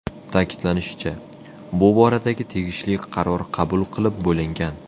Ta’kidlanishicha, bu boradagi tegishli qaror qabul qilib bo‘lingan.